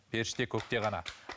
періште көкте ғана